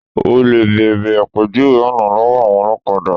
Olè béèrè àpèjúwe ọ̀nà lọ́wọ́ àwọn olọ́kadà.